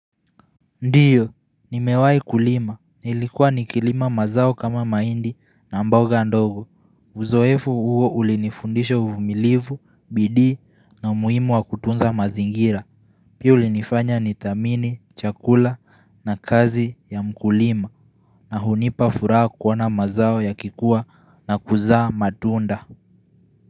Ndio, nimewahi kulima, nilikuwa nikilima mazao kama mahindi na mboga ndogo Uzoefu huo ulinifundisha uvumilivu, bidii na umuhimu wa kutunza mazingira Pia ulinifanya nidhamini, chakula na kazi ya mkulima na hunipa furaha kuona mazao yakikuwa na kuzaa matunda.